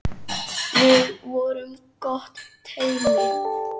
Við vorum gott teymi.